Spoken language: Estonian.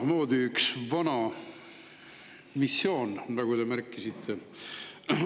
See on üks vana missioon, nagu te märkisite.